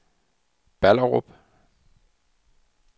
Ballerup